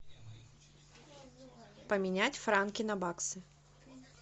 поменять франки на баксы